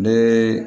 Ne